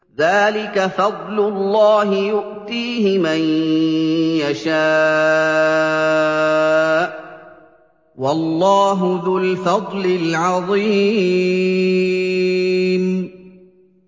ذَٰلِكَ فَضْلُ اللَّهِ يُؤْتِيهِ مَن يَشَاءُ ۚ وَاللَّهُ ذُو الْفَضْلِ الْعَظِيمِ